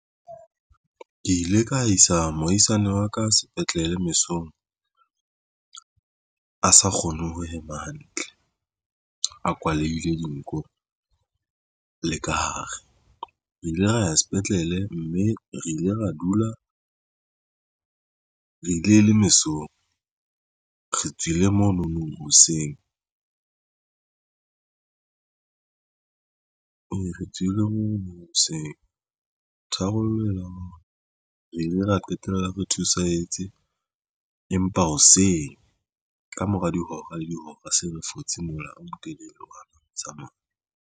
Ke ile ka isa mohaisane wa ka sepetlele mesong a sa kgone ho hema hantle a kwaleile dinko le ka hare re ile ra ya sepetlele mme re ile ra dula re ile le mesong. Re tswile mono nong hoseng re tswile mono nong hoseng tharollo eo re ile ra qetella re thusetse. Empa hoseng ka mora dihora le dihora se re fotse mola o motelele wa tsamaya.